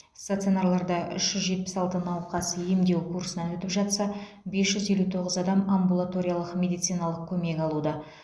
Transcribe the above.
стационарларда үш жүз жетпіс алты науқас емдеу курсынан өтіп жатса бес жүз елу тоғыз адам амбулаториялық медициналық көмек алуда